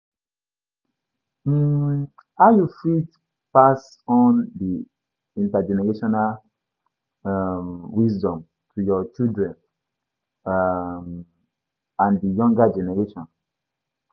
um How you fit pass on di intergenerational um wisdom to your children um and di younger generation?